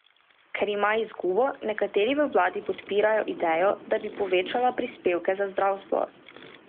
Ker ima izgubo, nekateri v vladi podpirajo idejo, da bi povečala prispevke za zdravstvo.